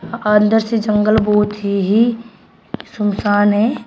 अंदर से जंगल बहोत ही ही सुनसान है।